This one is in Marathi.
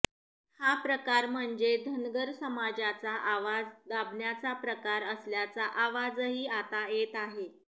हा प्रकार म्हणजे धनगर समाजाचा आवाज दाबण्याचा प्रकार असल्याचा आवाजही आता येत आहे